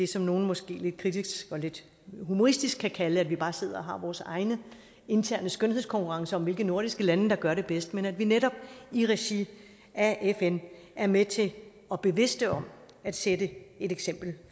som nogle måske lidt kritisk og lidt humoristisk kan kalde det bare at sidde og have vores egne interne skønhedskonkurrencer om hvilke nordiske lande der gør det bedst men at vi netop i regi af fn er med til og bevidste om at sætte et eksempel